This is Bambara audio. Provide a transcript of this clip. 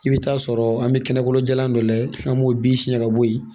I bɛ taa sɔrɔ an bɛ kɛnɛkolon jalan dɔ lajɛ an b'o bin siɲɛ ka bɔ yen